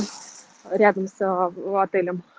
рядом с а отелем